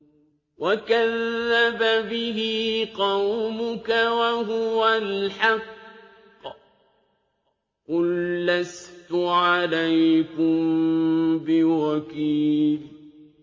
وَكَذَّبَ بِهِ قَوْمُكَ وَهُوَ الْحَقُّ ۚ قُل لَّسْتُ عَلَيْكُم بِوَكِيلٍ